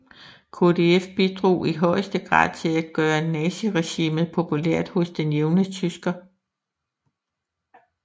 KdF bidrog i højeste grad til at gøre naziregimet populært hos den jævne tysker